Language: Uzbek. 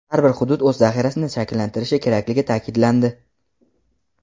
har bir hudud o‘z zaxirasini shakllantirishi kerakligi ta’kidlandi.